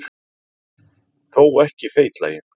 Þó ekki feitlaginn.